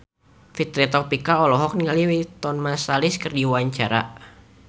Fitri Tropika olohok ningali Wynton Marsalis keur diwawancara